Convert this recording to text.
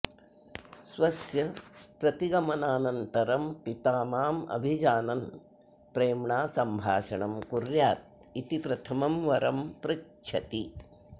स्वस्य प्रतिगमनानन्तरं पिता माम् अभिजानन् प्रेम्णा सम्भाषणं कुर्यादिति प्रथमं वरं पृच्छति